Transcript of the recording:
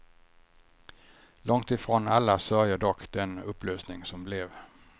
Långt ifrån alla sörjer dock den upplösning som blev.